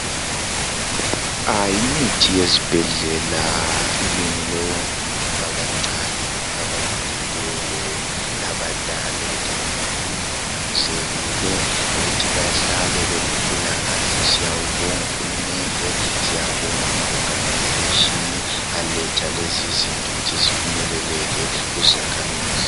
yimithi yezibhedlela ilungele wonke umuntu abancane abakhulileyo labadala ukuthi bahlale belempilakahle siyabonga uhulumende siyabonga ama organization aletha lezizinto ukuthi zifinyeleleke kuzakhamizi